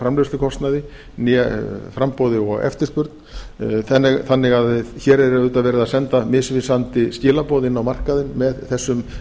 framleiðslukostnaði né framboði og eftirspurn þannig að að hér er auðvitað verið að senda misvísandi skilaboð inn á markaðinn með þessum